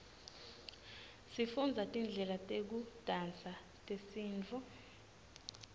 sifundza tidlela tekudansa tesintfu